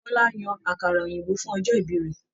Bọla yan àkàrà òyìnbó fún ọjọ ìbí rẹ